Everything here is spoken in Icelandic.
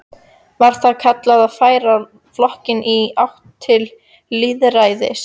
Var það kallað að færa flokkinn í átt til lýðræðis.